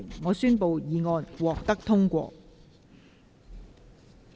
我宣布議案獲得通過。